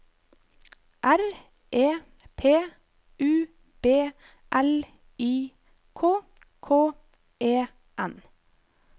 R E P U B L I K K E N